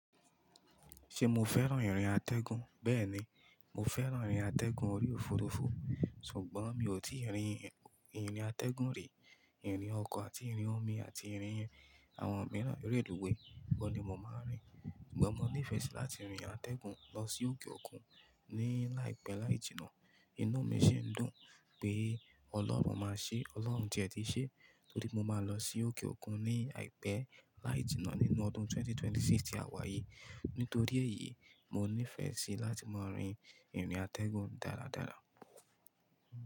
Ṣé mo fẹ́ràn ìrìn atẹgun? Bẹ́ẹ̀ni, mo fẹ́ràn ìrìn atẹgun orí òfurufú, ṣùgbọ́n mi ò tí ì rìn ìrìn atẹgun rí. Ìrìn ọkọ̀ àti ìrìn omi àti ìrìn àwọn òmíràn, eré lùwé kọ́ ni mo máa ń rìn. Ṣùgbọ́n mo nífẹ̀ẹ́ sí láti rìn atẹgun lọ sí òkè òkun ní láìpẹ́ láì jìnnà. Inú mi sì ń dùn pé Ọlọ́run máa ṣe, Ọlọ́run ti ẹ diíṣẹ́, torí mo máa lọ sí òkè òkun ní àìpẹ́ láì jìnnà nínú ọdún ẹgbẹ̀rún méjì ó lé mẹ́rìndínlọ́gbọ̀n tí a wà yìí. Nítorí èyí, mo nífẹ̀ẹ́ sí láti máa rìn ìrìn atẹgun dáradára.